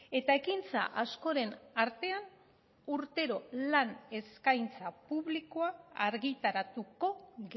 eta ekintza askoren artean urtero lan eskaintza publikoa argitaratuko